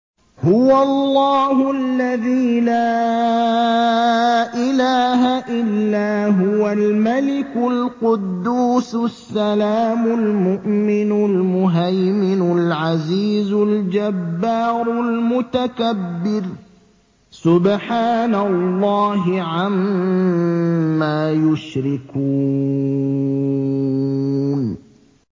هُوَ اللَّهُ الَّذِي لَا إِلَٰهَ إِلَّا هُوَ الْمَلِكُ الْقُدُّوسُ السَّلَامُ الْمُؤْمِنُ الْمُهَيْمِنُ الْعَزِيزُ الْجَبَّارُ الْمُتَكَبِّرُ ۚ سُبْحَانَ اللَّهِ عَمَّا يُشْرِكُونَ